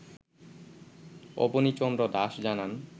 অবনী চন্দ্র দাশ জানান